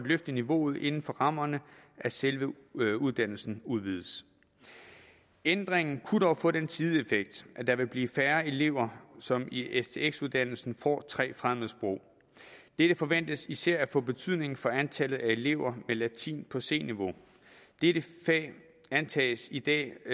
løfte niveauet inden for rammerne af selve uddannelsen udvides ændringen kunne dog få den sideeffekt at der vil blive færre elever som i stx uddannelsen får tre fremmedsprog det forventes især at få betydning for antallet af elever med latin på c niveau dette fag antages i dag